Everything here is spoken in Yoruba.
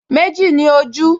Méjì ni ojú